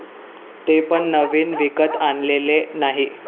ते पण नवीन विकत आणलेले नाही.